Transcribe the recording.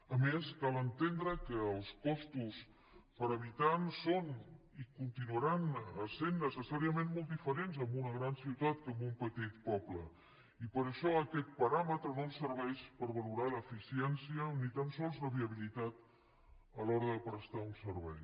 a més cal entendre que els costos per habitant són i continuaran sent necessàriament molt diferents en una gran ciutat que en un petit poble i per això aquest paràmetre no ens serveix per valorar l’eficiència ni tan sols la viabilitat a l’hora de prestar un servei